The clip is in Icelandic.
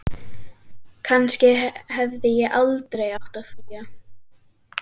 Kannski hefði ég aldrei átt að flýja.